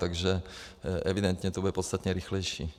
Takže evidentně to bude podstatně rychlejší.